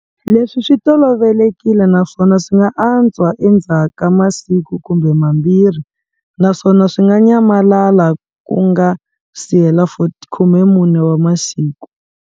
Leswi swi tolovelekile naswona swi nga antswa endzhaka siku kumbe mambirhi naswona swi nga ny malala ku nga sihela 14 wa masiku.